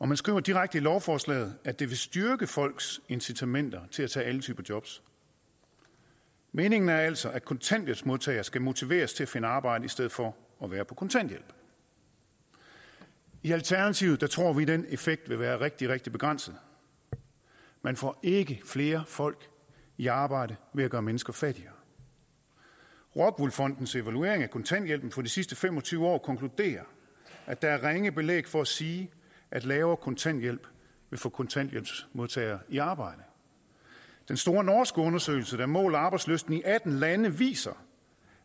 man skriver direkte i lovforslaget at det vil styrke folks incitamenter til at tage alle typer jobs meningen er altså at kontanthjælpsmodtagere skal motiveres til at finde arbejde i stedet for at være på kontanthjælp i alternativet tror vi at den effekt vil være rigtig rigtig begrænset man får ikke flere folk i arbejde ved at gøre mennesker fattigere rockwool fondens evaluering af kontanthjælpen for de sidste fem og tyve år konkluderer at der er ringe belæg for at sige at lavere kontanthjælp vil få kontanthjælpsmodtagere i arbejde den store norske undersøgelse der måler arbejdslysten i atten lande viser